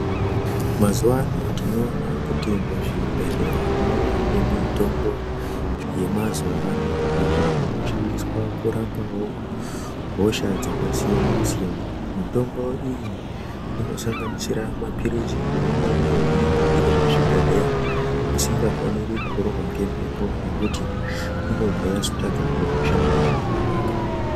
Mazuwa ano tinoona kuti muzvibhedhlera mwavane mitombo yemazuwa ano iyo inoshandiswa kurapawo hosha dzakasiyana siyana. Mitombo iyi inosanganisira maphirizi neimweniwo inenge iri muzvibhodhleya isingafaniri kurohwa ngemhepo nekuti inobva yazotadza kunoshanda zvakanaka.